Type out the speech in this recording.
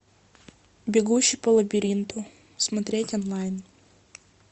бегущий по лабиринту смотреть онлайн